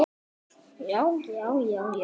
Hjartað hamast.